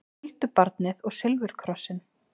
Huldubarnið og silfurkrossinn